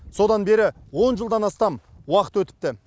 содан бері он жылдан астам уақыт өтіпті